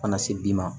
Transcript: Kana se bi ma